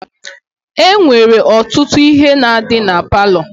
E nwere ọtụtụ ihe na-adị na palọ.